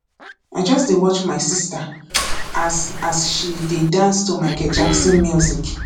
i just dey watch my sister as as she dey dance to micheal jackson music